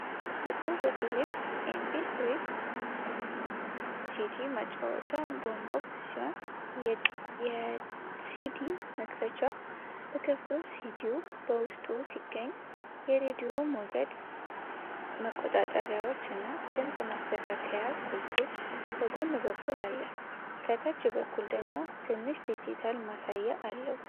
ጥቁር የፊሊፕስ ኤምፒ3-ሲዲ ማጫወቻ (Boombox) ሲሆን የሲዲ መክደኛው ተከፍቶ ሲዲው በውስጡ ይገኛል። የሬዲዮ ሞገድ መቆጣጠሪያዎች እና ድምጽ ማስተካከያ ቁልፎች በጎን በኩል አለ፣ ከታች በኩል ደግሞ ትንሽ ዲጂታል ማሳያ አለው።